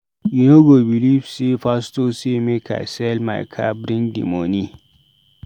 You no go beliv sey my pastor say make I sell my car bring di moni.